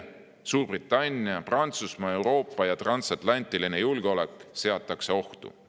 Suurbritannia, Prantsusmaa, Euroopa ja transatlantiline julgeolek seatakse ohtu.